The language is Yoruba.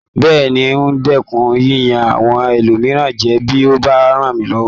Bẹ́ẹ̀ni, n o dẹ́kun yíyan àwọn ẹlòmíràn jẹ bí o bá ràn mí lọwọ